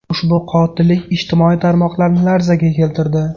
Ushbu qotillik ijtimoiy tarmoqlarni larzaga keltirdi.